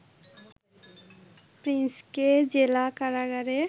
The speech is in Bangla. প্রিন্সকে জেলা কারাগারে